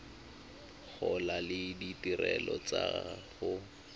gola le ditirelo tsa go